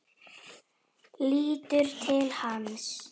Lítur til hans.